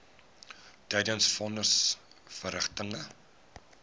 tydens von nisverrigtinge